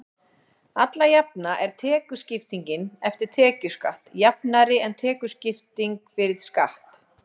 alla jafna er tekjuskiptingin „eftir tekjuskatt“ jafnari en tekjuskipting „fyrir skatt“